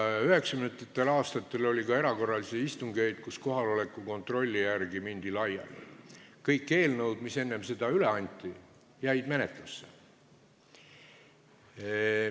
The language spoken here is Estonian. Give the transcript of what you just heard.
1990. aastatel oli ka erakorralisi istungeid, kus kohaloleku kontrolli järel mindi laiali, aga kõik eelnõud, mis enne seda üle anti, jäid menetlusse.